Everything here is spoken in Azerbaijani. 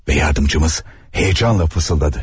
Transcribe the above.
Və yardımcımız heçanla fısıldadı.